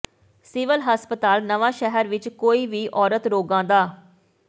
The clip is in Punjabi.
ਸਿਵਲ ਹਸਪਤਾਲ ਨਵਾਂਸ਼ਹਿਰ ਵਿਚ ਕੋਈ ਵੀ ਔਰਤ ਰੋਗਾਂ ਦ